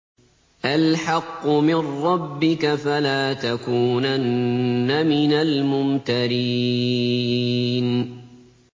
الْحَقُّ مِن رَّبِّكَ ۖ فَلَا تَكُونَنَّ مِنَ الْمُمْتَرِينَ